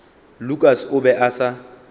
lukas o be a sa